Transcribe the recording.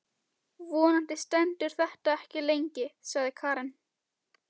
Vonandi stendur þetta ekki lengi, sagði Karen.